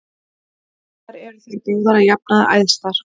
Þar eru þær báðar að jafnaði æðstar.